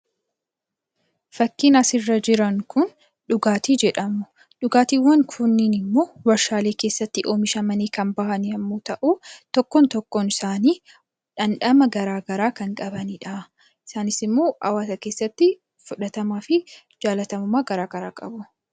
Fakkiin asirra jiran kun dhugaatii jedhamu. Dhugaatiiwwan kunneen immoo warshaa keessatti oomishamanii kan bahan yommuu ta'u, tokkoon tokkoon isaanii dhamdhama garaagaraa kan qabanidha. Isaanis immoo hawaasa keessatti fudhatamaa fi jallatamummaa garaagaraa qabu.